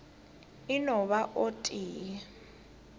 e no ba o tee